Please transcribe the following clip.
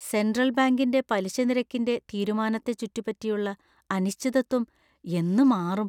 Central ബാങ്കിന്‍റെ പലിശനിരക്കിന്‍റെ തീരുമാനത്തെ ചുറ്റിപ്പറ്റിയുള്ള അനിശ്ചിതത്വം എന്ന് മാറും?